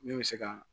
Min bɛ se ka